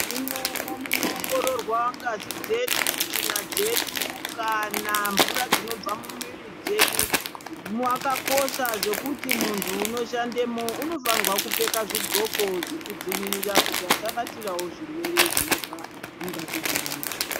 Imwomwo munoongororwa ngazi dzedu, tsvina dzedu kana mvura dzinobva mumwiri dzedu makakosha zvekuti muntu unoshandemo unofanirwa kupfeka zvidxoko zvekudzivirira kuti asabatirawo zvirwere zvinobva mungazi dzevantu.